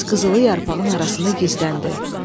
Tez qızılı yarpağın arasında gizləndi.